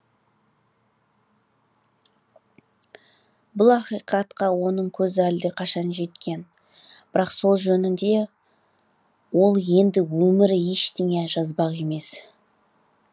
бұл ақиқатқа оның көзі әлдеқашан жеткен бірақ сол жөнінде де ол енді өмірі ештеңе жазбақ емес